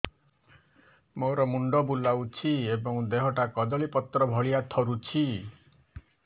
ମୋର ମୁଣ୍ଡ ବୁଲାଉଛି ଏବଂ ଦେହଟା କଦଳୀପତ୍ର ଭଳିଆ ଥରୁଛି